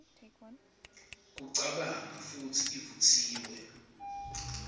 kucabanga futsi ivutsiwe